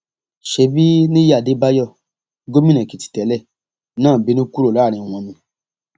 ṣebí nìyí adébáyò gómìnà èkìtì tẹlẹ náà bínú kúrò láàrin wọn ni